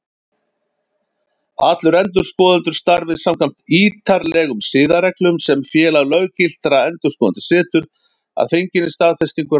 Allir endurskoðendur starfi samkvæmt ítarlegum siðareglum sem Félag löggiltra endurskoðenda setur, að fenginni staðfestingu ráðherra.